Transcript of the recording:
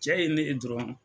Cɛ ye ne ye dɔrɔn.